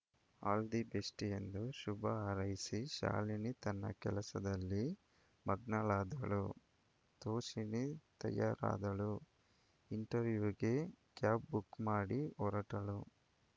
all the best ಎಂದು ಶುಭ ಹಾರೈಸಿ ಶಾಲಿನೀ ತನ್ನ ಕೆಲಸದಲ್ಲಿ ಮಗ್ನಳಾದಳು ತೋಷಿಣೀ ತಯಾರಾದಳು ಇಂಟರ್‌ವ್ಯೂಗೆ ಕ್ಯಾಬ್‌ ಬುಕ್‌ಮಾಡಿ ಹೊರಟಳು